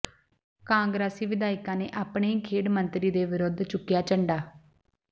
ਕਾਂਗਰਸੀ ਵਿਧਾਇਕਾਂ ਨੇ ਆਪਣੇ ਹੀ ਖੇਡ ਮੰਤਰੀ ਦੇ ਵਿਰੁੱਧ ਚੁੱਕਿਆ ਝੰਡਾ